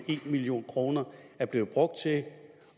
en million kroner er blevet brugt til